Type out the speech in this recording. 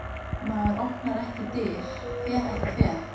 Maður opnar ekki dyr, fer ekki fet.